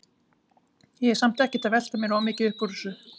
Ég er samt ekkert að velta mér of mikið upp úr þessu.